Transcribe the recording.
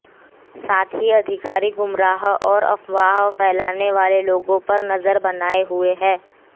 साथ ही अधिकारी गुमराह और अफवाह फैलाने वाले लोगों पर नजर बनाएं हुए हैं